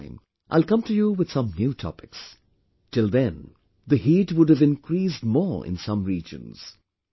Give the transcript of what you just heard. Next time I will come to you with some new topics... till then the 'heat' would have increased more in some regions